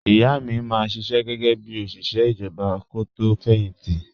Ìyá mi máa ń ṣiṣẹ́ gẹ́gẹ́ bí òṣìṣẹ́ ìjọba kó tó fẹ̀yìn tì